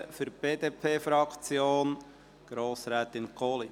Für die BDP-Fraktion: Grossrätin Kohli.